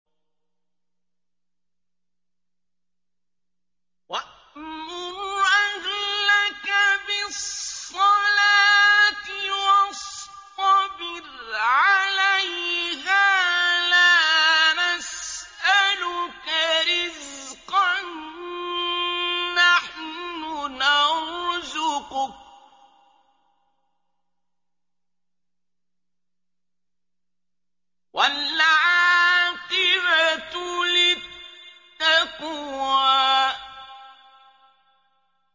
وَأْمُرْ أَهْلَكَ بِالصَّلَاةِ وَاصْطَبِرْ عَلَيْهَا ۖ لَا نَسْأَلُكَ رِزْقًا ۖ نَّحْنُ نَرْزُقُكَ ۗ وَالْعَاقِبَةُ لِلتَّقْوَىٰ